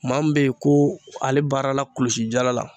Maa min be ye ko ale baara la kulusi jala la